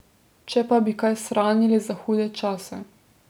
Če pa bi kaj shranili za hude čase...